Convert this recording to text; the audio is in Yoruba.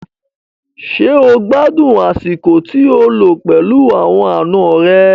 Ṣé o gbádùn àsìkò tí o lò pẹ̀lú àwọn àna rẹ?